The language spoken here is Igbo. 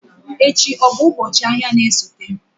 Echi ọ bụ ụbọchị ahịa na-esote?